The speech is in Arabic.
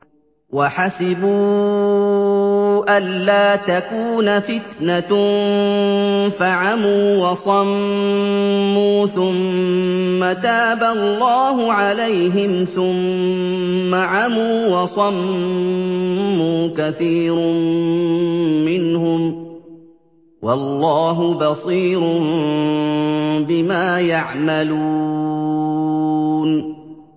وَحَسِبُوا أَلَّا تَكُونَ فِتْنَةٌ فَعَمُوا وَصَمُّوا ثُمَّ تَابَ اللَّهُ عَلَيْهِمْ ثُمَّ عَمُوا وَصَمُّوا كَثِيرٌ مِّنْهُمْ ۚ وَاللَّهُ بَصِيرٌ بِمَا يَعْمَلُونَ